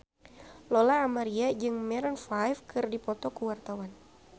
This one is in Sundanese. Lola Amaria jeung Maroon 5 keur dipoto ku wartawan